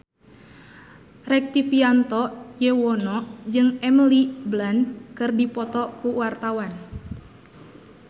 Rektivianto Yoewono jeung Emily Blunt keur dipoto ku wartawan